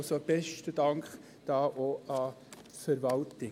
Also: Besten Dank, auch an die Verwaltung.